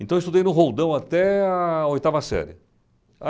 Então eu estudei no Roldão até a oitava série.